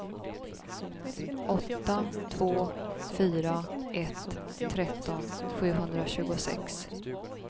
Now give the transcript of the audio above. åtta två fyra ett tretton sjuhundratjugosex